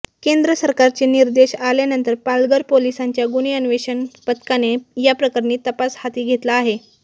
केंद्र सरकारचे निर्देश आल्यानंतर पालघर पोलिसांच्या गुन्हे अन्वेषण पथकाने याप्रकरणी तपास हाती घेतला आहे